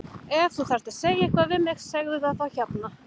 Ef þú þarft að segja eitthvað við mig segðu það þá hérna!